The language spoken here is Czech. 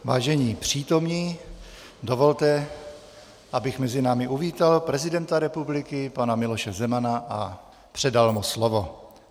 Vážení přítomní, dovolte, abych mezi námi uvítal prezidenta republiky pana Miloše Zemana a předal mu slovo.